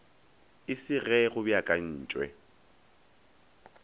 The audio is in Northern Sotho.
e se ge go beakantwe